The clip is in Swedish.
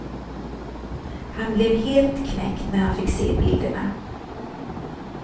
Han blev helt knäckt när han fick se bilderna.